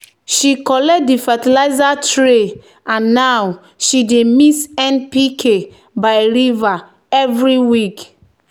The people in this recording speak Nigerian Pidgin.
"she collect di fertilizer tray and now she dey mix npk by river every week."